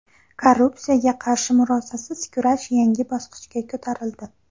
Korrupsiyaga qarshi murosasiz kurash yangi bosqichga ko‘tarildi.